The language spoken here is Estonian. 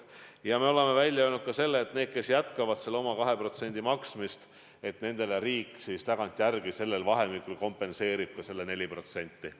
Ja me oleme välja öelnud ka selle, et nendele, kes jätkavad oma 2% maksmist, riik kompenseerib tagantjärele sellel ajavahemikul 4%.